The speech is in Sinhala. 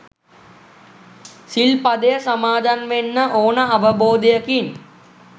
සිල්පදය සමාදන් වෙන්න ඕන අවබෝධයකින්